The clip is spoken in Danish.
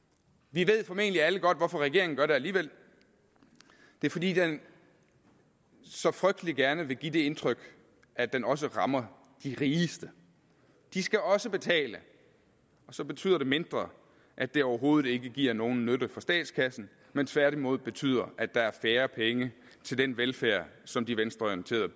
vi ved formentlig alle godt hvorfor regeringen gør det alligevel det er fordi den så frygtelig gerne vil give det indtryk at den også rammer de rigeste de skal også betale og så betyder det mindre at det overhovedet ikke giver nogen nytte for statskassen men tværtimod betyder at der er færre penge til den velfærd som de venstreorienterede